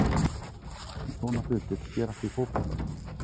En svona hlutir gerast í fótboltanum.